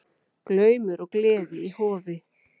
Glaumur og gleði í Hofi